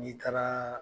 N'i taara